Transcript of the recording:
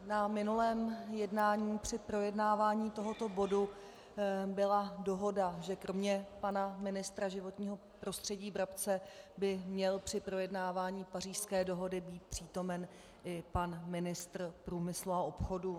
Na minulém jednání při projednávání tohoto bodu byla dohoda, že kromě pana ministra životního prostředí Brabce by měl při projednávání Pařížské dohody být přítomen i pan ministr průmyslu a obchodu.